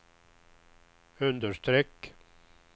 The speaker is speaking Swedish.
understreck